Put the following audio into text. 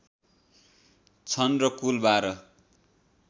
छन् र कुल १२